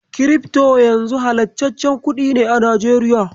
Kirifto yanzu halastaccen kuɗi ne a Najeriya.